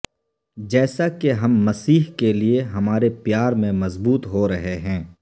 جیسا کہ ہم مسیح کے لئے ہمارے پیار میں مضبوط ہو رہے ہیں